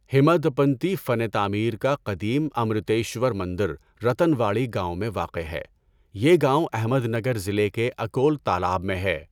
ہیمادپنتی فن تعمیر کا قدیم امروتیشور مندر رتن واڑی گاؤں میں واقع ہے۔ یہ گاؤں احمد نگر ضلع کے اکول تالاب میں ہے۔